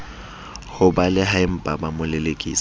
ho balehaempa ba mo lelekisa